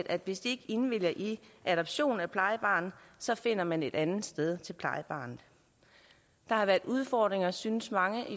at hvis de ikke indvilliger i adoption af plejebarnet så finder man et andet sted til plejebarnet der har været udfordringer synes mange